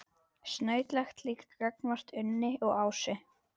Snautlegt líka gagnvart Unni og Ásu.